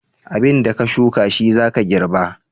Abin da ka shuka shi za ka girba.